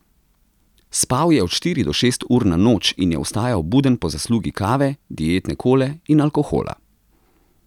Spal je od štiri do šest ur na noč in je ostajal buden po zaslugi kave, dietne kole in alkohola.